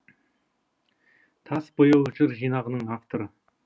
тас бояу жыр жинағының авторы